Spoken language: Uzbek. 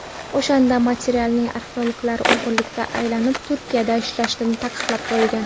O‘shanda Mellartning arxeologlari o‘g‘irlikda ayblanib, Turkiyada ishlashi taqiqlab qo‘yilgan.